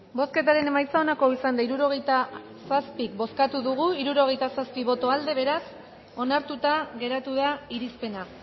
bozketaren emaitza onako izan da hirurogeita zazpi eman dugu bozka hirurogeita zazpi boto aldekoa beraz onartuta geratu da irizpena